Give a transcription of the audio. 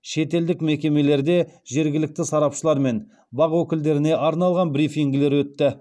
шетелдік мекемелерде жергілікті сарапшылар мен бақ өкілдеріне арналған брифингілер өтті